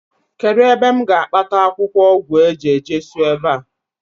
kedu ebe m ga-akpata akwukwo ogwu eje-jesu ebe a?